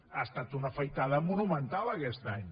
ha estat una afaitada monumental aquest any